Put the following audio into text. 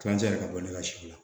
Kilancɛ yɛrɛ ka bɔ ne ka si la